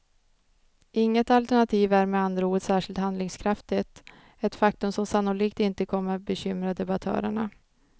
Inget alternativ är med andra ord särskilt handlingskraftigt, ett faktum som sannolikt inte kommer bekymra debattörerna.